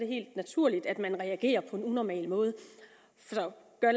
helt naturligt at man reagerer på en unormal måde så for at